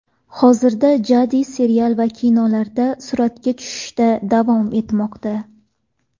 Hozirda Jadi serial va kinolarda suratga tushishda davom etmoqda.